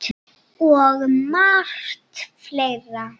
Og margt fleira.